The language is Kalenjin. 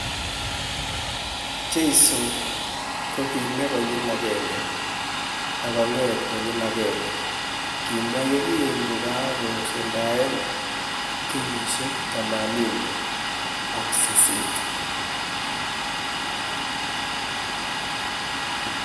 "Jesu kokimee konyil akenge, ak kong'et konyil akenge," kimwa ye kingokakosuldae kenyisiek 88.